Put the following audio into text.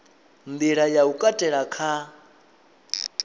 nḓila ya u katela kha